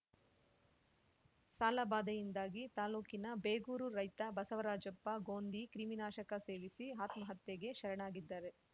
ಸಾಲಬಾಧೆಯಿಂದಾಗಿ ತಾಲೂಕಿನ ಬೇಗೂರು ರೈತ ಬಸವರಾಜಪ್ಪ ಗೋಂದಿ ಕ್ರಿಮಿನಾಶಕ ಸೇವಿಸಿ ಆತ್ಮಹತ್ಯೆಗೆ ಶರಣಾಗಿದ್ದಾರೆ